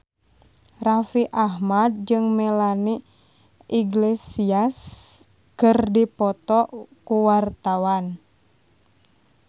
Raffi Ahmad jeung Melanie Iglesias keur dipoto ku wartawan